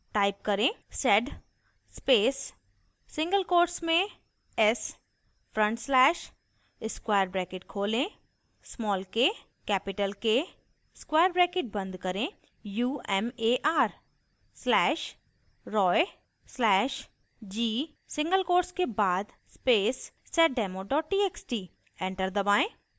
type करें: